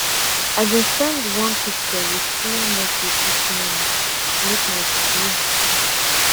i been send one picture with small message this morning to make my padi happy